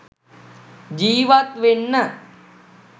ජීවත් වෙන්න..